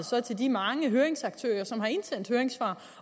så til de mange høringsaktører som har indsendt høringssvar